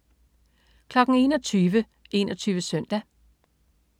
21.00 21 Søndag